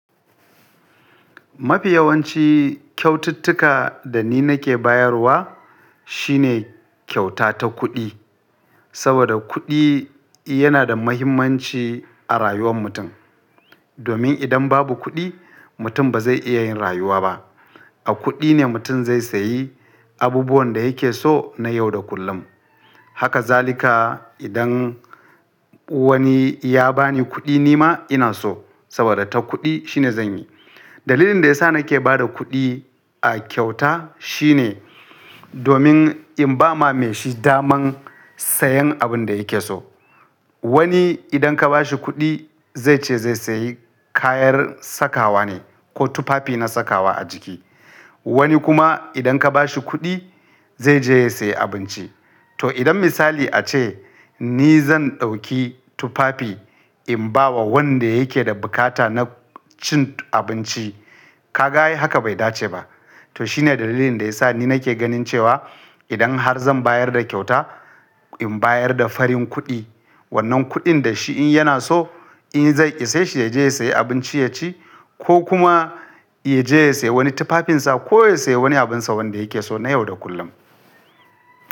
Mafi yawanci kyaututtuka da ni nake bayarwa shine kyauta ta kuɗi, saboda kuɗi yana da muhimmanci a rayuwar mutum. Domin idan babu kuɗi, mutum ba zai iya yin rayuwa ba. A kuɗi ne mutum zai sayi abubuwan da yake so na yau da kullum. Haka zalika idan wani ya ba ni kuɗi, ni ma ina so saboda ta kuɗi shine zan yi. Dalilin da ya sa nake ba da kuɗi a kyauta shine domin in ba ma mai shi daman sayen abin da yake so. Wani idan ka ba shi kuɗi zai ce zai sayi kayan sakawa ne ko tufafi na sakawa a jiki. Wani kuma idan ka ba shi kuɗi zai je ya sayi abinci. To idan misali a ce ni zan ɗauki tufafi in ba wa wanda yake da bukata na cin abinci, ka ga ai haka bai dace ba. To shine dalilin da ya sa ni nake ganin cewa idan har zan bayar da kyauta, in bayar da farin kuɗi. Wannan kuɗin da shi in yana so, in zai ishe shi ya je ya sayi abinci ya ci ko kuma ya je ya sayi wani tufafinsa ko ya sayi wani abin sa wanda yake so na yau da kullum.